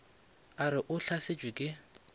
a re o hlasetšwe ke